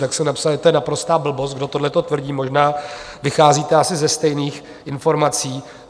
Tak jsem napsal, že je to naprostá blbost, kdo tohleto tvrdí, možná vycházíte asi ze stejných informací.